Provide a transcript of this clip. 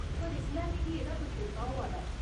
पर, इसलै मिगी एह्दा पच्छोताऽ होआ दा ऐ।